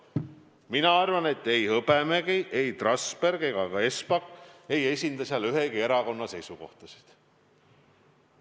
Mina arvan, et ei Hõbemägi, Trasberg ega ka Espak ei esinda ühegi erakonna seisukohtasid.